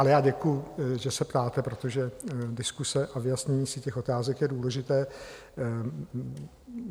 Ale já děkuji, že se ptáte, protože diskuse a vyjasnění si těch otázek je důležité.